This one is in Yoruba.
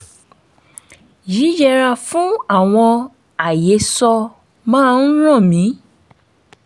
yíyẹra fún àwọn àhesọ máa ń ràn mí